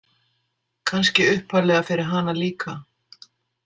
Kannski upphaflega fyrir hana líka.